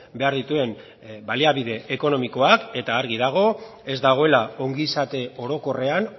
behar dituen baliabide ekonomikoak eta argi dago ez dagoela ongizate orokorrean